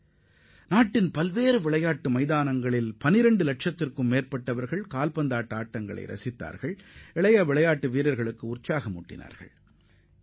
12 லட்சத்திற்கும் மேற்பட்ட விளையாட்டு ஆர்வலர்கள் நாட்டின் பல்வேறு பகுதிகளில் உள்ள விளையாட்டு அரங்குகளில் கால்பந்து போட்டிகளை கண்டுகளித்தது இளம் வீரர்களுக்கு பெரும் ஊக்கத்தை அளித்துள்ளது